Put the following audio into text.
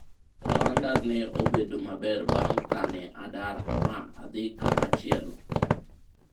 ohanda ne obedo maber bang' kane adar ma adhi kamachielo